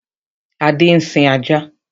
Adé ń sin ajá.